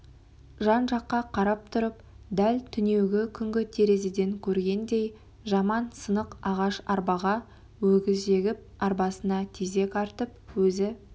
жан-жаққа қарап тұрып дәл түнеугі күнгі терезеден көргендей жаман сынық ағаш арбаға өгіз жегіп арбасына тезек артып өзі